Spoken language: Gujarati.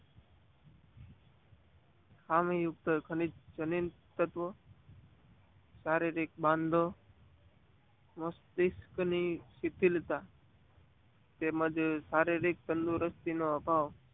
આ યુક્ત ખનીજ તત્વો શારીરિક બાંધો મસ્તીક ની સિટિલતા તેમજ શારીરિક તાંદુરસ્તી નો અભાવ,